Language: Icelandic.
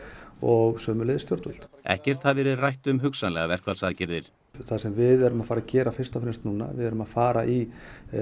og sömuleiðis stjórnvöld ekkert hafi verið rætt um hugsanlegar verkfallsaðgerðir það sem við erum að fara gera fyrst og fremst núna við erum að fara í